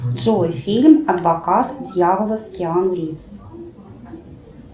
джой фильм адвокат дьявола с киану ривз